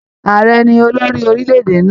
Ààrẹ ni olórí orílẹ̀-èdè nlá.